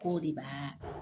K'o de b'aa